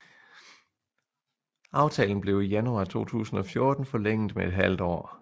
Aftalen blev i januar 2014 forlænget med et halvt år